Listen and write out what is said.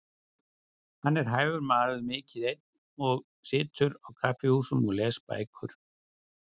Hann er hæfur maður, mikið einn og situr á kaffihúsum og les bækur.